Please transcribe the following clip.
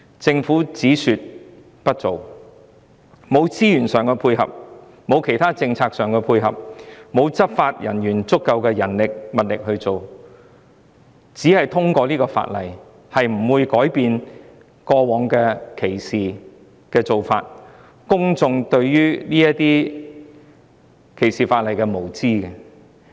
政府只說不做，沒有資源上的配合，沒有其他政策的配合，也沒有足夠的執法人員和物力執法，因此，只是通過法例，並不會改變過往的歧視情況，亦不會改變公眾對於歧視法例的無知。